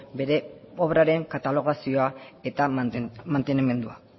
bere obraren katalogazioa eta mantenimendua